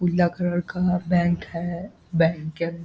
पीला कलर का बैंक हैं बैंकेम --